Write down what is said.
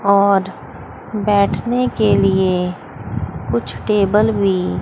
और बैठने के लिए कुछ टेबल भी--